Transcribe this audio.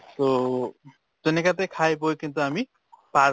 তʼ তেনেকাতে খাই বৈ কিন্তু আমি পাৰ